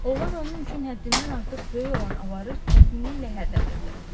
Oğlan onun üçün həddindən artıq böyük olan avarı çətinliklə hərlədirdi.